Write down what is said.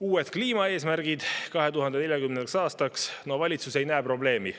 Uued kliimaeesmärgid 2040. aastaks – valitsus ei näe probleemi.